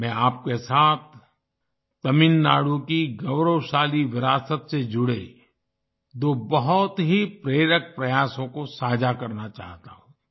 मैं आपके साथ तमिलनाडु की गौरवशाली विरासत से जुड़े दो बहुत ही प्रेरक प्रयासों को साझा करना चाहता हूँ